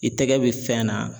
I tɛgɛ bɛ fɛn na.